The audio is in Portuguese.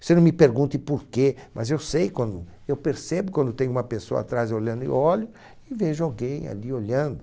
Você não me pergunte por quê, mas eu sei quando, eu percebo quando tem uma pessoa atrás olhando e olho e vejo alguém ali olhando.